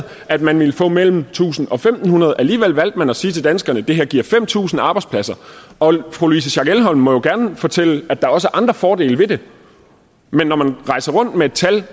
at man ville få mellem tusind og fem hundrede alligevel valgte man at sige til danskerne det her giver fem tusind arbejdspladser og fru louise schack elholm må jo gerne fortælle at der også andre fordele ved det men når man rejser rundt med et tal